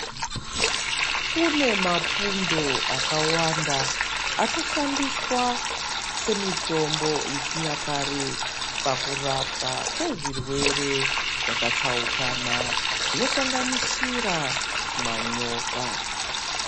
Kune mapundo akawanda anoshandiswa semitombo yechinyakare pakurapwa kwezvirwere zvakatsaukana zvinosanganisira manyoka.